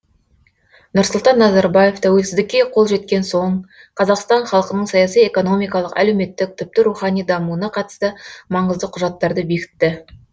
нұрсұлтан назарбаев тәуелсіздікке қол жеткен соң қазақстан халқының саяси экономикалық әлеуметтік тіпті рухани дамуына қатысты маңызды құжаттарды бекітті